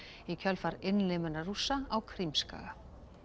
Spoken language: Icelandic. í kjölfar innlimunar Rússa á Krímskaga